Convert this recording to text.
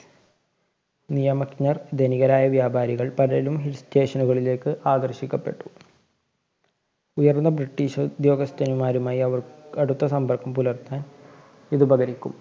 നിയമജ്ഞർ, ധനികരായ വ്യാപാരികള്‍ പലരും Hill station കളിലേക്ക് ആകര്‍ഷിക്കപ്പെട്ടു. ഉയര്‍ന്ന ബ്രിട്ടീഷുദ്യോഗസ്ഥന്മാരുമായി അവര്‍ക്ക് അടുത്ത സമ്പര്‍ക്കം പുലര്‍ത്താന്‍ ഇതുപകരിക്കും.